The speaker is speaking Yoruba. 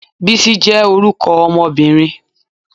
Bisi je orúkọ ọmọbirin